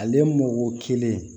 Ale mɔ kelen